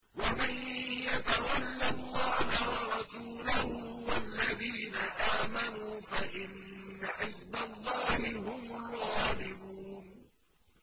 وَمَن يَتَوَلَّ اللَّهَ وَرَسُولَهُ وَالَّذِينَ آمَنُوا فَإِنَّ حِزْبَ اللَّهِ هُمُ الْغَالِبُونَ